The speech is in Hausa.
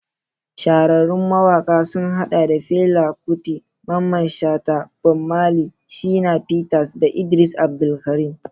Shahararrun mawakan sun hada da Fela Kuti, Mamman Shata, Bob Marley, Shina Peters, da Idris Abdulkarim.